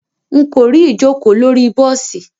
Nko ri ijoko lori bosi.